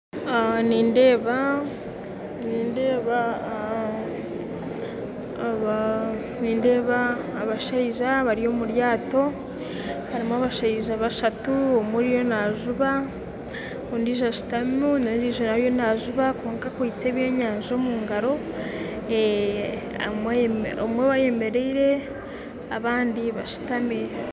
Nindeeba abashaija bari omuryato, harimu abashaija bashatu omwe ariyo najuba, ondiijo ashuutami, n'ondiijo ariyo najuba kwonka akwitse eby'enyanja omungaro, omwe ayemeraire abandi bashutami